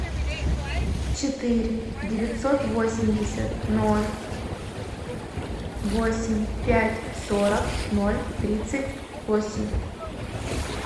четыре девятьсот восемьдесят ноль восемь пять сорок ноль тридцать восемь